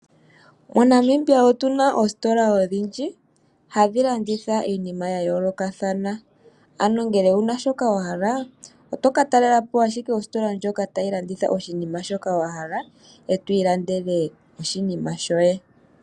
MoNamibia otu na oositola odhindji hadhi landitha iinima ya yoolokathana, ano ngele owu na shoka wa hala oto ka talela po ashike ositola ndjoka tayi landitha oshinima shoka wa hala e to ilandele oshinima shoye.